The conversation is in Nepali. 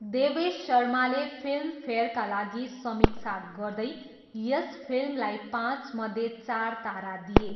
देवेश शर्माले फिल्मफेयरका लागि समीक्षा गर्दै यस फिल्मलाई पाँचमध्ये चार तारा दिए।